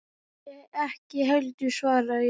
Ég ekki heldur, svaraði ég.